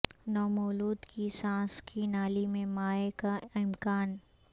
نومولود کی سانس کی نالی میں مائع کا امکان